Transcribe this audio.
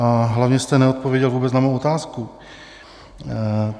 A hlavně jste neodpověděl vůbec na mou otázku.